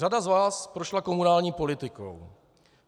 Řada z vás prošla komunální politikou.